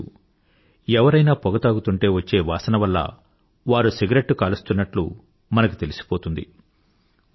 మీకు తెలుసు ఎవరైనా పొగ తాగుతుంటే వచ్చే వాసన వల్ల వారు సిగరెట్టు కాలుస్తున్నట్లు మనకు తెలిసిపోతుంది